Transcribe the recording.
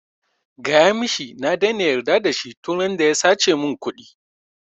Gaya mishi na daina yarda da shi tun randa ya sace min ƙudi